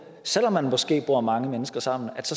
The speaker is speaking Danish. selv om man måske bor mange mennesker sammen